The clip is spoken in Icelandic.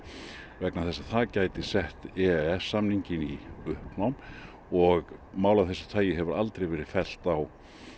vegna þess að það gæti sett e e s samninginn í uppnám og mál af þessu tagi hefur aldrei verið fellt á